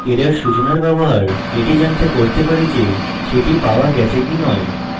error সূচনার ব্যবহার এটি জানতে করতে পারি যে সেটি পাওয়া গেছে কি you